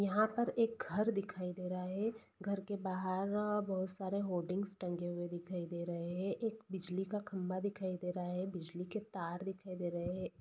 यहाँ पर एक घर दिखाई दे रहा है घर के बाहर अ बहुत सारे होर्डिंग्स टंगे हुऐ दिखाई दे रहे है एक बिजली का खंबा दिखाई दे रहा है बिजली के तार दिखाई दे रहे है।